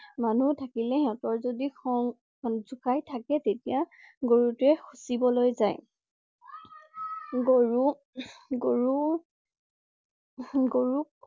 মানুহ থাকিলে সিহঁতৰ যদি খং~যুকাই থাকে তেতিয়া গৰুটোৱে খুচিবলৈ জাই। গৰু ~উম~গৰু~গৰুক